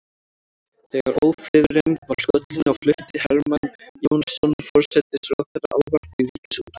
Þegar ófriðurinn var skollinn á flutti Hermann Jónasson forsætisráðherra ávarp í ríkisútvarpið.